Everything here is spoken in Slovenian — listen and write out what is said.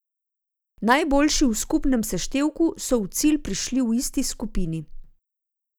Najboljši v skupnem seštevku so v cilj prišli v isti skupini.